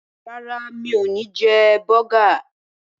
Rárá, mi ò ní jẹ bọ́gà.